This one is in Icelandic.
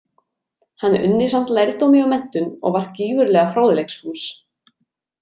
Hann unni samt lærdómi og menntun, og var gífurlega fróðleiksfús.